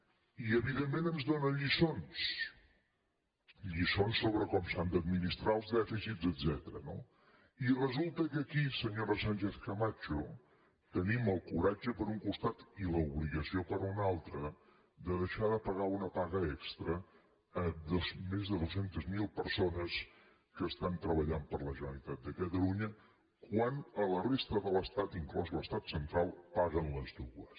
i evidentment ens donen lliçons lliçons sobre com s’han d’administrar els dèficits etcètera no i resulta que aquí senyora sánchez camacho tenim el coratge per un costat i l’obligació per un altre de deixar de pagar una paga extra a més de dos cents miler persones que estan treballant per a la generalitat de catalunya quan a la resta de l’estat inclòs l’estat central paguen les dues